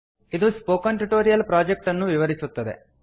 ಇದು spoken tutorial project ಅನ್ನು ವಿವರಿಸುತ್ತದೆ